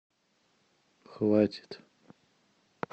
хватит